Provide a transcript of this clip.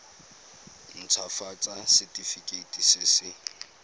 nt hafatsa setefikeiti se se